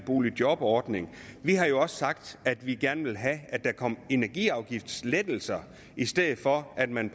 boligjobordningen vi har jo også sagt at vi gerne vil have at der kom energiafgiftslettelser i stedet for at man